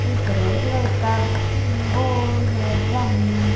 एक red colour का वो है ड्रम ।